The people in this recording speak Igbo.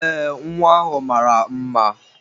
Ee, nwa ahụ mara mma.